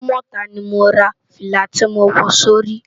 Idumota ni mó rá filá ti mó wò si óri